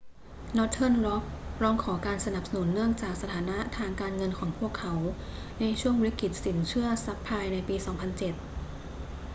northern rock ร้องขอการสนับสนุนเนื่องจากสถานะทางการเงินของพวกเขาในช่วงวิกฤตสินเชื่อซับไพรม์ในปี 2007